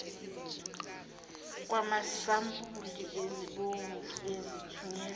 kwamasampuli ezimbewu ezithunyelwa